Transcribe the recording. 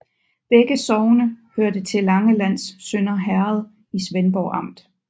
Begge sogne hørte til Langelands Sønder Herred i Svendborg Amt